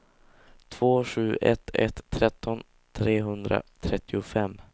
två sju ett ett tretton trehundratrettiofem